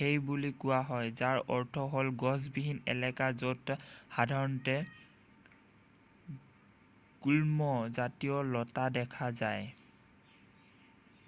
হেই' বুলি কোৱা হয় যাৰ অৰ্থ হ'ল গছবিহীন এলেকা য'ত সাধাৰণতে গুল্ম জাতীয় লতা দেখা পোৱা যায়